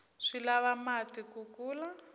swi lava mati ku kula